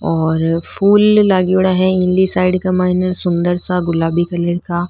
और फूल लागेड़ा है इन्नी साइड का मइने सुन्दर सा गुलाबी कलर का।